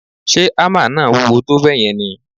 Ṣe hámà náà wúwo tó bẹ́ẹ̀ yẹn ni?